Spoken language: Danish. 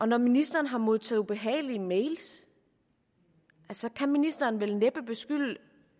når ministeren har modtaget ubehagelige mails kan ministeren vel næppe beskylde